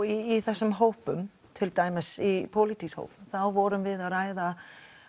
í þessum hópum til dæmis í pólítíska hóp þá vorum við að ræða